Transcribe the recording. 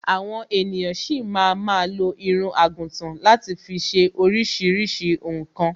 Àwa ènìyan ṣi ma ma lo irun àgùtan láti fi ṣe oríṣiríṣi nǹkan